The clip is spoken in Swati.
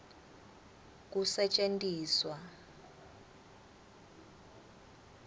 kusetjentiswa